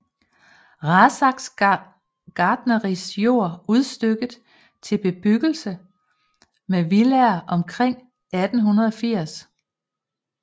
Rathsacks gartneris jord udstykket til bebyggelse med villaer omkring 1880